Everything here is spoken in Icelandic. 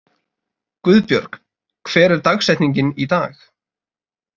Guðbjörg, hver er dagsetningin í dag?